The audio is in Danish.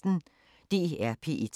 DR P1